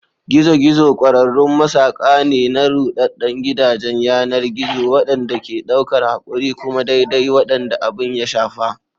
Gizo-gizo ƙwararrun masaƙa ne na ruɗaɗɗen gidajen yanar gizo waɗanda ke ɗaukar haƙuri kuma daidai waɗanda abin ya shafa.